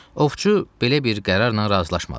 Ovçu belə bir qərarla razılaşmadı.